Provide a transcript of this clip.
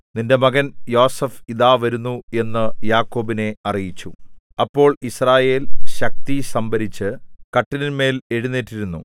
നിന്റെ മകൻ യോസേഫ് ഇതാ വരുന്നു എന്നു യാക്കോബിനെ അറിയിച്ചു അപ്പോൾ യിസ്രായേൽ ശക്തി സംഭരിച്ച് കട്ടിലിന്മേൽ എഴുന്നേറ്റിരുന്നു